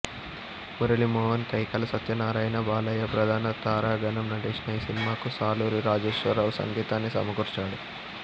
మురళీ మోహన్ కైకాల సత్యనారాయణ బాలయ్య ప్రధాన తారాగణం నటించిన ఈ సినిమాకు సాలూరి రాజేశ్వరరావు సంగీతాన్ని సమకూర్చాడు